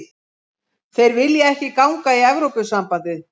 Þeir vilja ekki ganga í Evrópusambandið